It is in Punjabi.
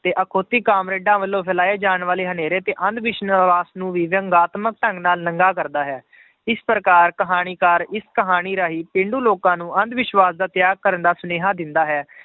ਤੇ ਅਖਾਉਤੀ ਕਾਮਰੇਡਾਂ ਵੱਲੋਂ ਫੈਲਾਏ ਜਾਣ ਵਾਲੇ ਹਨੇਰੇ ਤੇ ਅੰਧ ਵਿਸ਼ਵਾਸ਼ ਨੂੰ ਵੀ ਵਿਅੰਗਾਤਮਕ ਢੰਗ ਨਾਲ ਨੰਗਾ ਕਰਦਾ ਹੈ ਇਸ ਪ੍ਰਕਾਰ ਕਹਾਣੀਕਾਰ ਇਸ ਕਹਾਣੀ ਰਾਹੀਂ ਪੇਂਡੂ ਲੋਕਾਂ ਨੂੰ ਅੰਧ ਵਿਸ਼ਵਾਸ਼ ਦਾ ਤਿਆਗ ਕਰਨ ਦਾ ਸੁਨੇਹਾਂ ਦਿੰਦਾ ਹੈ,